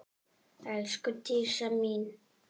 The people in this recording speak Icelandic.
Elsku Dísa mín.